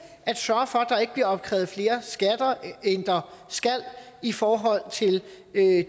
at sørge for at der ikke bliver opkrævet flere skatter end der skal i forhold til